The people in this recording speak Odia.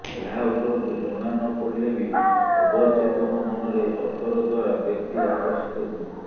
ଏହା ଉପରକୁ ଜଣା ନ ପଡ଼ିଲେ ବି ଅବଚେତନ ମନରେ ଅତର ଦ୍ୱାରା ବ୍ୟକ୍ତି ଆକର୍ଷିତ ହୁଅନ୍ତି